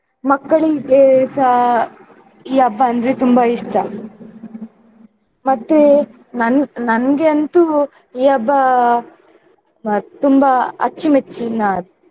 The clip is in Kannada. ಮಕ್ಕಳಿಗೆಸ ಈ ಹಬ್ಬ ಅಂದ್ರೆ ತುಂಬ ಇಷ್ಟ. ಮತ್ತೆ ನಾನ್~ ನನ್ಗೆ ಅಂತೂ ಈ ಹಬ್ಬ ಅಹ್ ತುಂಬಾ ಅಚ್ಚುಮೆಚ್ಚಿನ ಹಬ್ಬ.